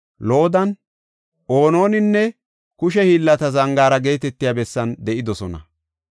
Loodan, Ononinne Kushe Hiillata Zangaara geetetiya bessan de7idosona.